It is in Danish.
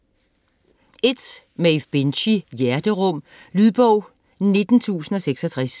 Binchy, Maeve: Hjerterum Lydbog 19066